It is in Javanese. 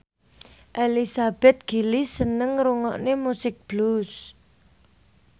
Elizabeth Gillies seneng ngrungokne musik blues